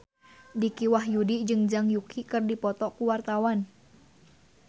Dicky Wahyudi jeung Zhang Yuqi keur dipoto ku wartawan